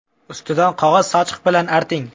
Ustidan qog‘oz sochiq bilan arting.